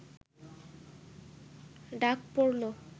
ডাক পড়ল